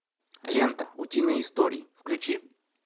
лента утиные истории включи